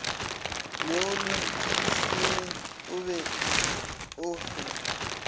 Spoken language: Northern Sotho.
neolotšisimi o be o fe